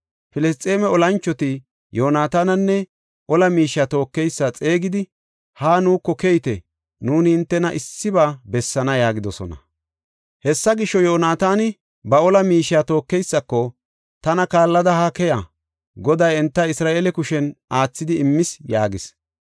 Filisxeeme olanchoti, Yoonatananne ola miishiya tookeysa xeegidi, “Haa nuuko keyite; nuuni hintena issiba bessaana” yaagidosona. Hessa gisho, Yoonataani ba ola miishiya tookeysako, “Tana kaallada ha keya. Goday enta Isra7eele kushen aathidi immis” yaagis.